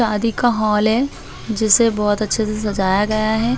शादी का हाल है जिसे बहुत अच्छे से सजाया गया है।